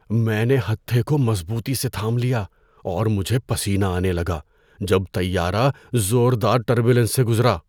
میں نے ہتھے کو مضبوطی سے تھام لیا اور مجھے پسینہ آنے لگا جب طیارہ زوردار ٹربولینس سے گزرا۔